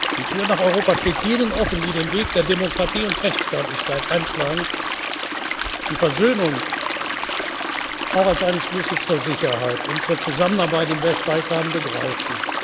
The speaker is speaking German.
Interesse ist. Die Tür nach Europa steht jenen offen, die den Weg der Demokratie und Rechtsstaatlichkeit einschlagen, die Versöhnung auch als einen Schlüssel zur Sicherheit und zur Zusammenarbeit im Westbalkan